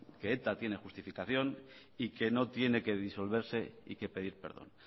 que eta tiene justificación y que no tiene que disolverse y que pedir perdón